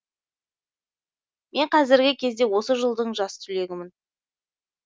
мен қазіргі кезде осы жылдың жас түлегімін